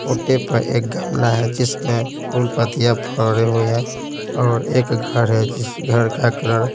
कोटे पर एक गमला है जिसमें फूल पत्तियाँ भरे हुए हैं और एक घर है जिस घर का कलर --